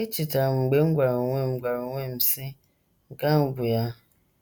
Echetara m mgbe m gwara onwe m gwara onwe m, sị, Nke ahụ bụ ya!